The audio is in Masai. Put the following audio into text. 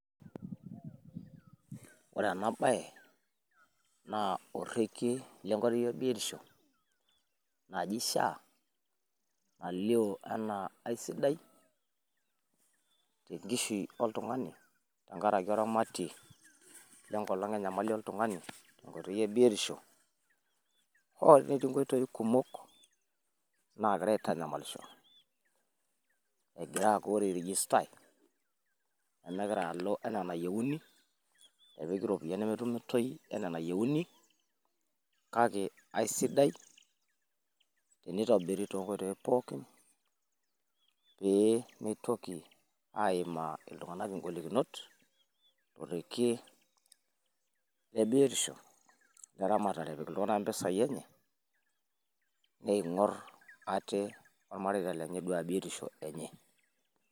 woore enaa baaye naa orekie lenkoitoi ebiotisho naji SHA nalioo enaa asidaii tenkishui, oltungani tenkaraki oramatei lenkoitoi ebiotisho, oltungani hoo netii nkoitoi kumok hoo netii nkoitoi kumok nagira aitanyamalisho egiraii airegistaii nemegira aaku woore egiraii airegistai kake kesidaii enitobiri tonkoitoi pookin pee mitoki iltunganak aimaa ingolikinot torekie leramatare ping'orr iltunganak mpisai enye ning'orr ate olmareita enye